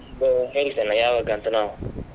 ಒಂದು ಹೇಳ್ತೀನಿ ಯಾವಾಗ ಅಂತ ನಾವು.